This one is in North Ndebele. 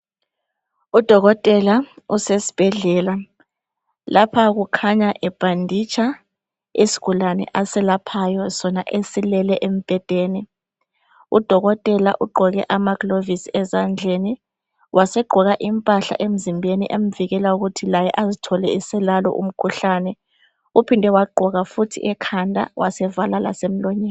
udokotela usesibhedlela lapha kukhanya ebhanditsha isigulane asilaphayo sona esilele embhedeni udokotela ugqoke amaglovisi ezandleni wasegqoka impahla emzimbeni emvikela ukuthi laye azithole eselalo umkhuhlane uphinde wagqoka futhi ekhanda wasevala lasemlonyeni